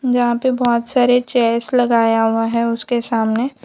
जहाँ पे बहोत सारे चेयर्स लगाया हुआ हैं उसके सामने--